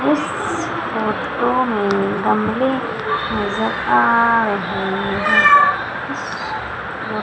इस फोटो में गमले नजर आ रहे है।